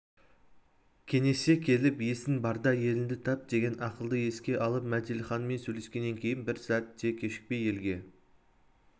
кеңесе келіп есің барда еліңді тап деген ақылды еске алып мәделіханмен сөйлескеннен кейін бір сәт те кешікпей елге